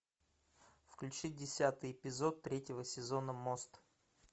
включи десятый эпизод третьего сезона мост